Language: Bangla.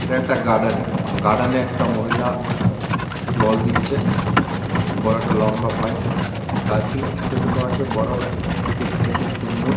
এটা একটা গার্ডেন গার্ডেন একটা মহিলা জল দিচ্ছে। বড় একটা লম্বা পাইপ গাছ গুলো ছোট ছোট আছে বড় আছে দেখতে খুব সুন্দর ।